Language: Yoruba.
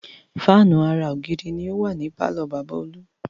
Fáànù ara ògiri ni ó wà ní pàlọ́ bàbá Olú